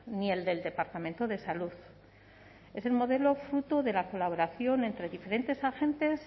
ni el del departamento de salud es el modelo fruto de la colaboración entre diferentes agentes